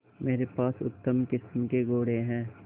मेरे पास उत्तम किस्म के घोड़े हैं